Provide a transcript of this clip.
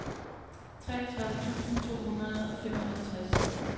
treogtredive tusind to hundrede og femoghalvtreds